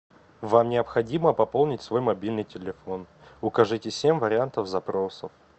вам необходимо пополнить свой мобильный телефон укажите семь вариантов запроса